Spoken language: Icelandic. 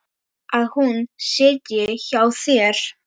Að hún sitji hjá þér?